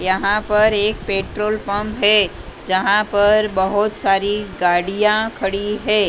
यहाँ पर एक पेट्रोल पंप हैं जहाँ पर बहुत सारी गाड़ियाँ खड़ी हैं ।